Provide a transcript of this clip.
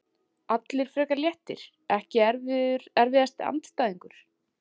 Allir frekar léttir Ekki erfiðasti andstæðingur?